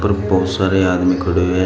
और बहुत सारे आदमी खड़े हुए हैं।